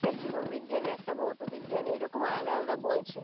একটা জীবন বিজ্ঞান একটা ভৌত বিজ্ঞান এরকম আলাদা আলাদা বই ছিল